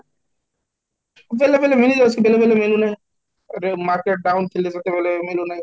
ବେଲେବେଲେ ମିଳିଯାଉଛି ବେଲେବେଲେ ମିଲୁନି, ରେ market down ଥିଲେ ଯେତେବେଳେ ମୁଁ ଜଣେ